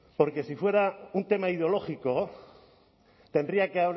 porque si fuera un tema ideológico tendría que